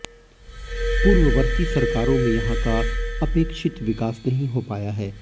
पूर्ववर्ती सरकारों में यहां का अपेक्षित विकास नहीं हो पाया है